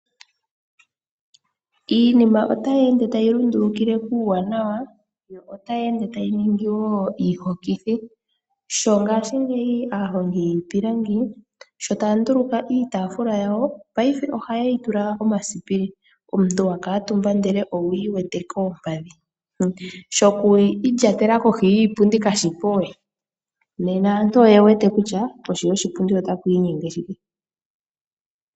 Iinima otayi ende tayi lundulukile kuuwaanawa, yoo otayi ende woo tayiningi iihukuthi. Sho ngaashi ngeyi aahongi yiipilangi sho taanduluka iitafula yawo peife ohaye yi tula omasipili , omuntu wa kala omutumba ndele owuli wete koompadhi. Sho ku indjatela kohi yiipundi kashipo we. Nena aantu oye wete kutya koshi yoshi pundi ota kwiinyenge shike